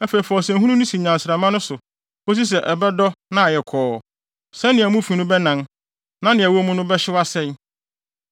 Afei fa ɔsɛnhunu no si nnyansramma no so kosi sɛ ɛbɛdɔ na ayɛ kɔɔ sɛnea mu fi no bɛnan na nea ɛwɔ mu no bɛhyew asɛe.